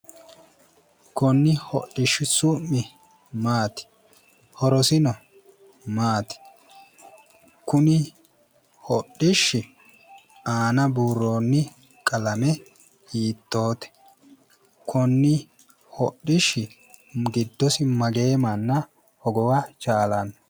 Konne hodhishshu su'mi maati? Horosino maati? Kuni hodhishshi? Aana buuroonni qalame hiittoote? Konni hodhishshi giddosi mageyi manna hogowa chaalanno.